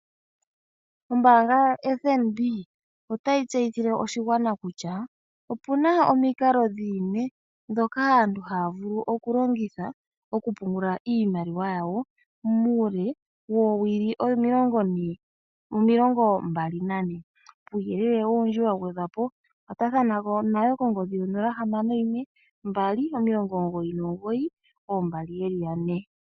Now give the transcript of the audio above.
Ombaanga yoFNB otayi tseyithile oshigwana kutya opuna omikalo dhimwe ndhoka aantu haya vulu oku longitha oku pungula iimaliwa yawo muule woowili omilongo mbali nane. Kuuyelele owundji wa gwedhwa po, kwatathana nayo kongodhi 0612992222.